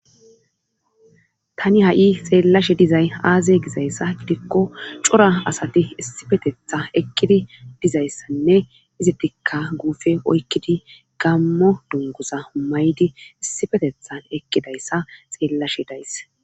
Tani ha7i xeellashe dizay aaze gizayssa gidikko cora asati issipetetha ekkidi dizayssanne izittikka guufe oykkidi gammo dungusa humaydi issifetethan ekkidayssa xeellashe dayss